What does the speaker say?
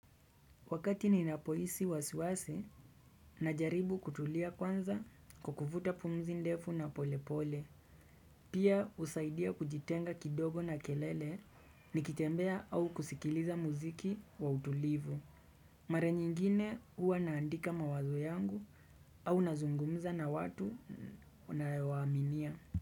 Wakati ninapo hisi wasiwasi na jaribu kutulia kwanza kwa kufuta pumzi ndefu na polepole. Pia husaidia kujitenga kidogo na kelele nikitembea au kusikiliza muziki wa utulivu. Mara nyingine huwa naandika mawazo yangu au nazungumza na watu unao wa aminia.